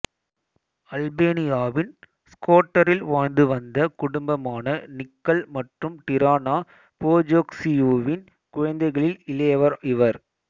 அல்பேனியாவின் ஷ்கோடரில் வாழ்ந்து வந்த குடும்பமான நிக்கல் மற்றும் டிரானா போஜாக்சியுவின் குழந்தைகளில் இளையவர் இவர்